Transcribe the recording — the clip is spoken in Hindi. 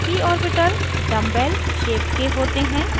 p orbitals dumbbell dumbbell shaped के होते हैं